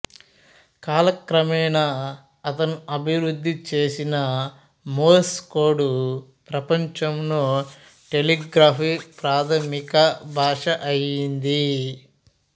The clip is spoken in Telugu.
కాలక్రమేణా అతను అభివృద్ధి చేసిన మోర్స్ కోడ్ ప్రపంచంలో టెలిగ్రాఫీ ప్రాధమిక భాష అయింది